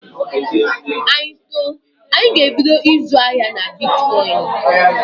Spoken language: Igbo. Anyị too, anyị ga-ebido ịzụ ahịa na bitkọịnị.